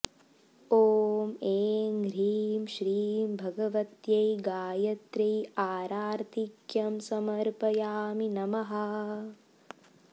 ॐ ऐं ह्रीं श्रीं भगवत्यै गायत्र्यै आरार्तिक्यं समर्पयामि नमः